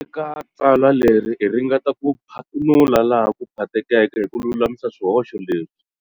Eka tsalwa leri hi ringeta ku phathunula laha ku phathekeke hi ku lulamisa swihoxo leswi.